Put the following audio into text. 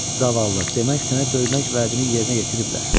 Zavallı, demək sənə döymək vəədini yerinə yetiriblər.